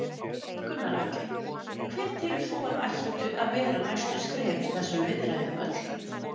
Gunnar Atli: Hver telur þú að ættu að vera næstu skref í þessum viðræðum öllum?